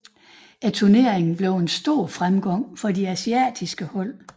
Turneringen blev en stor fremgang for de asiatiske hold